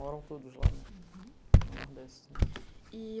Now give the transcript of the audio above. Moram todos lá no no Nordeste, né. Uhum, e